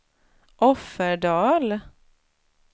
Offerdal